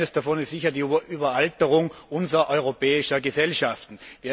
Ich glaube, eines davon ist sicher die Überalterung unserer europäischen Gesellschaften.